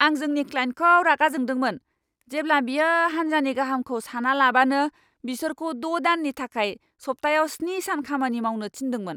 आं जोंनि क्लाइन्टखौ रागा जोंदोंमोन, जेब्ला बियो हान्जानि गाहामखौ सानालाबानो बिसोरखौ द' दाननि थाखाय सप्तायाव स्नि सान खामानि मावनो थिन्दोंमोन।